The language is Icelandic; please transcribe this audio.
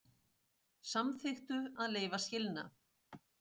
Samþykktu að leyfa skilnað